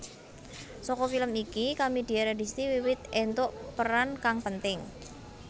Saka film iki Kamidia Radisti wiwit entuk peran kang penting